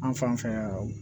An fan fɛ yan